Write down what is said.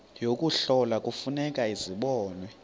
yokuhlola kufuneka zibonwe